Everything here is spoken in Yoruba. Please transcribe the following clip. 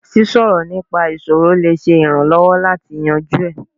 Sísọ nípa ìṣòro lè ṣe ìrànwọ́ láti yanjú ẹ̀.